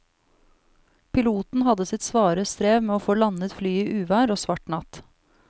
Piloten hadde sitt svare strev med å få landet flyet i uvær og svart natt.